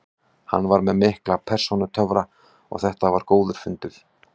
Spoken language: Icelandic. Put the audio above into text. Hann er með mikla persónutöfra og þetta var góður fundur.